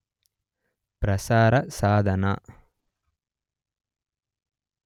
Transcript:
ಪ್ರಸಾರ ಸಾಧನ